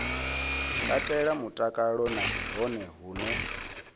katela mutakalo na hone hune